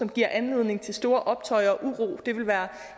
giver anledning til store optøjer og uro det ville være